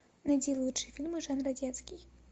найди лучшие фильмы жанра детский